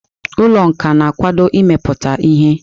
Ụlọ nka na-akwado imepụta ihe.